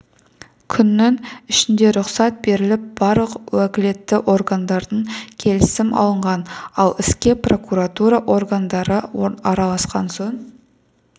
күннің ішінде рұқсат беріліп барлық уәкілетті органдардан келісім алынған ал іске прокуратура органдары араласқан соң